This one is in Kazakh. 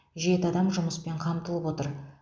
жеті адам жұмыспен қамтылып отыр